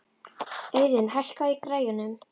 Auðun, hækkaðu í græjunum.